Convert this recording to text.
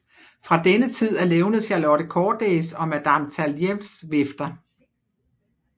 Fra denne tid er levnet Charlotte Cordays og Madame Talliens vifter